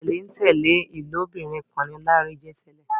tẹlentẹle ilobirin kán ní Lanre jé tèlé